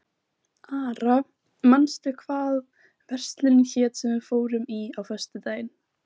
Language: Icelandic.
Dæmi um hluti í geimnum sem eru ekki endilega kringlóttir eru smástirni.